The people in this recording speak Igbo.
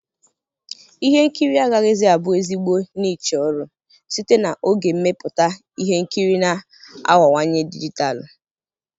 Ihe nkiri agaghịzi abụ ezigbo niche ọrụ, site na oge mmepụta ihe nkiri na-aghọwanye dijitalụ.